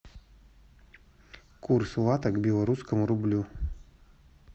курс лата к белорусскому рублю